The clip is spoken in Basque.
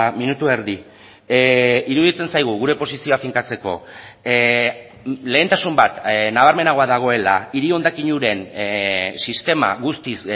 minutu erdi iruditzen zaigu gure posizioa finkatzeko lehentasun bat nabarmenagoa dagoela hiri hondakin uren sistema guztiz